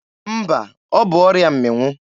Mba, ọ bụ ọrịa mmịnwụ.